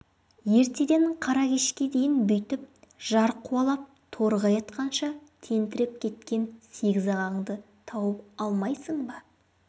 ертеден қара кешке дейін бүйтіп жар қуалап торғай атқанша тентіреп кеткен сегіз ағаңды тауып алмайсың ба